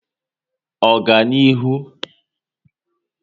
Oganihu